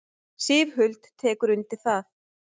Sif Huld tekur undir það.